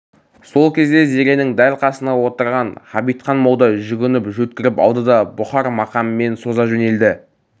сол кезде зеренің дәл қасында отырған ғабитхан молда жүгініп жөткіріп алды да бұхар мақамымен соза жөнелді